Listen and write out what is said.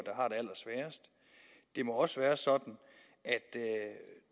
der må også være sådan at